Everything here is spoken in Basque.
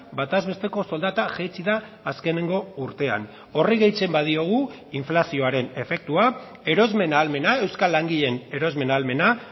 bataz besteko soldata jaitsi da azkeneko urtean horri gehitzen badiogu inflazioaren efektua erosmen ahalmena euskal langileen erosmen ahalmena